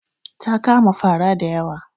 Ta kama fara da yawa.